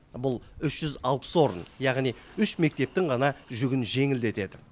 бұл үш жүз алпыс орын яғни үш мектептің ғана жүгін жеңілдетеді